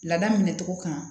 Lada minɛ cogo kan